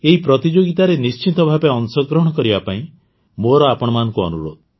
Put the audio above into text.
ଏହି ପ୍ରତିଯୋଗୀତାରେ ନିଶ୍ଚିତ ଭାବେ ଅଂଶଗ୍ରହଣ କରିବା ପାଇଁ ମୋର ଆପଣମାନଙ୍କୁ ଅନୁରୋଧ